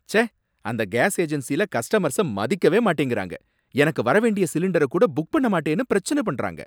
ச்சே! அந்த கேஸ் ஏஜென்ஸில கஸ்டமர்ஸ மதிக்கவே மாட்டேங்கறாங்க, எனக்கு வர வேண்டிய சிலிண்டர கூட புக் பண்ண மாட்டேனு பிரச்சனை பண்றாங்க